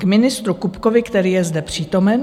K ministru Kupkovi, který je zde přítomen.